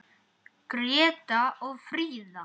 Greta og Fríða.